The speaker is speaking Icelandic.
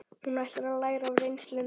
Hún ætlar að læra af reynslunni.